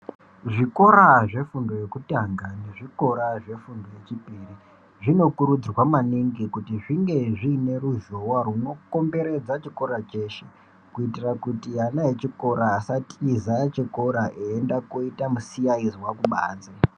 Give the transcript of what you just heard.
Zvikora zvefundo yekutanga nezvikora zvefundo yechipiri, zvinokurudzirwa maningi kuti zvinge zviine ruzhowa rwunokomberedza chikora cheshe, kuitira kuti ana echikora asatiza chikora eienda koita misiyayizwa kubanze.